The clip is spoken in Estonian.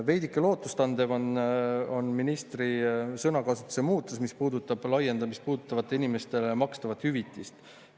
Veidike lootust andev on ministri sõnakasutuse muutus, mis puudutab laiendamist puudutavatele inimestele makstavat hüvitist.